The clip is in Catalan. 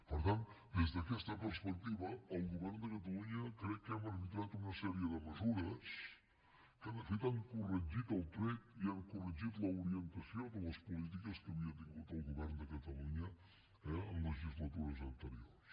per tant des d’aquesta perspectiva el govern de catalunya crec que hem arbitrat una sèrie de mesures que de fet han corregit el tret i han corregit l’orientació de les polítiques que havia tingut el govern de catalunya eh en legislatures anteriors